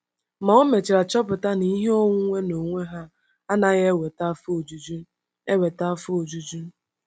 Ma o mechara chọpụta na ihe onwunwe n’onwe ha anaghị eweta afọ ojuju. eweta afọ ojuju.